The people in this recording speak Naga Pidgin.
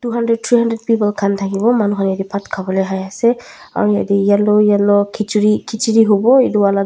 hundreds three hundred aro yatae yellow yellow edu toh khichiri howo.